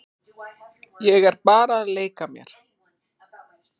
Ég er bara að leika mér.